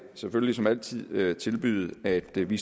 selvfølgelig som altid vil tilbyde at vi vi